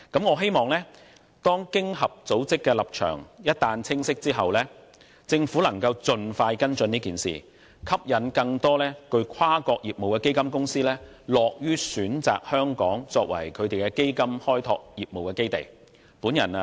我希望一俟經濟合作與發展組織的立場清晰，政府能盡快跟進此事，以吸引更多有跨國業務的基金公司樂於選擇香港作為基金開拓業務的基地。